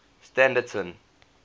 standerton